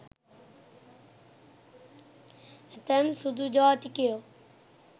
ඇතැම් සුදු ජාතිකයෝ